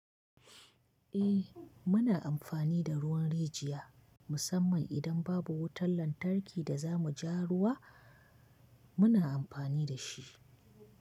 Eh muna amfani da ruwan rijiya musamman idan babu wutar lantarki da za mu ja ruwa muna amfani da shi.